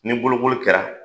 Ni boloboli kɛra